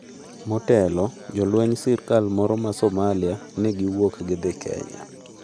Motelo, jolweny wsirikal moro mar Somalia, ne giwuok gidhi Kenya.